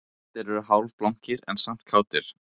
Allir eru hálfblankir en samt kátir